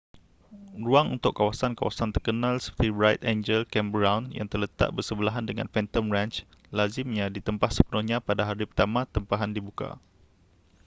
ruang untuk kawasan-kawasan terkenal seperti bright angel campground yang terletak bersebelahan dengan phantom ranch lazimnya ditempah sepenuhnya pada hari pertama tempahan dibuka